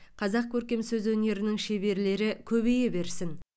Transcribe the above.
қазақ көркем сөз өнерінің шеберлері көбейе берсін